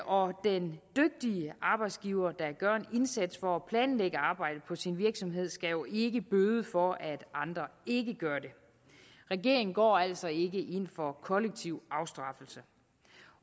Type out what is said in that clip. og den dygtige arbejdsgiver der gør en indsats for at planlægge arbejdet på sin virksomhed skal jo ikke bøde for at andre ikke gør det regeringen går altså ikke ind for kollektiv afstraffelse